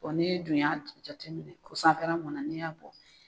ni dun y'a jateminɛ ko sanfɛla mɔna n'i y'a bɔ.